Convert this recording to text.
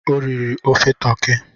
O riri ofe toki.